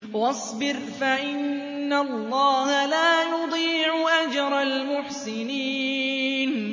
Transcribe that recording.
وَاصْبِرْ فَإِنَّ اللَّهَ لَا يُضِيعُ أَجْرَ الْمُحْسِنِينَ